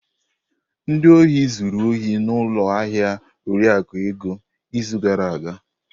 Ndị ohi zuru ohi n'ụlọ ahịa Oriakụ Ego izu gara aga.